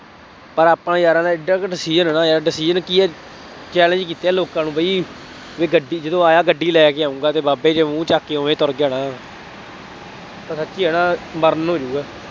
ਪਰ ਆਪਣਾ ਯਾਰਾਂ ਦਾ ਐਡਾ ਕੁ decision ਹੈ ਨਾ ਯਾਰ। decision ਕੀ ਹੈ, challenge ਕੀਤੇ ਹੈ ਲੋਕਾਂ ਨੂੰ ਬਈ, ਬਈ ਗੱਡੀ, ਜਦੋਂ ਆਇਆ ਗੱਡੀ ਲੈ ਕੇ ਆਊਂਗਾ ਅਤੇ ਬਾਬਾ ਜਿਹੇ ਮੂੰਹ ਚੱਕ ਕੇ ਉਵੇਂ ਤੁਰ ਜਾਣਾ। ਗੱਲ ਸੱਚੀ ਹੈ ਨਾ ਮਰਨ ਹੋ ਜਾਊਗਾ।